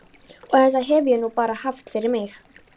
Og þetta hef ég nú bara haft fyrir mig.